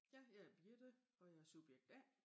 Ja jeg er Birthe og jeg er subjekt A